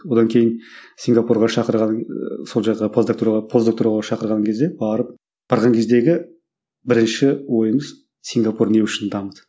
одан кейін сингапурға шақырған сол жаққа постдоктура постдоктураға шақырған кезде барып барған кездегі бірінші ойымыз сингапур не үшін дамыды